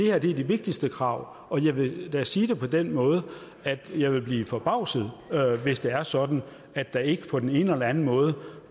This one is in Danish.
er de vigtigste krav og jeg vil da sige det på den måde at jeg vil blive forbavset hvis det er sådan at der ikke på den ene eller anden måde